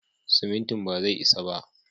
Simintin bazai isa ba.